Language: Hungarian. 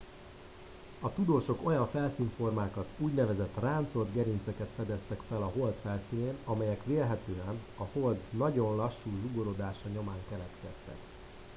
a tudósok olyan felszínformákat úgynevezett ráncolt gerinceket fedeztek fel a hold felszínén amelyek vélhetően a hold nagyon lassú zsugorodása nyomán keletkeztek